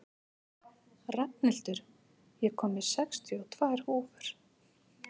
Rafnhildur, ég kom með sextíu og tvær húfur!